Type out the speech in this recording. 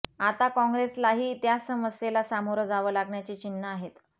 आता काँग्रेसलाही त्या समस्येला सामोरं जावं लागण्याची चिन्ह आहेत